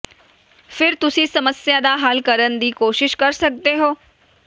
ਫਿਰ ਤੁਸੀਂ ਸਮੱਸਿਆ ਦਾ ਹੱਲ ਕਰਨ ਦੀ ਕੋਸ਼ਿਸ਼ ਕਰ ਸਕਦੇ ਹੋ